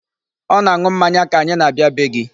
Ọ na-aṅụ mmanya ka anyi na-abịa bee gị.